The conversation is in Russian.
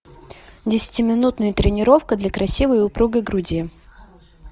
десятиминутная тренировка для красивой и упругой груди